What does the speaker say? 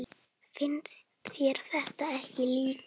Finnst þér það ekki líka?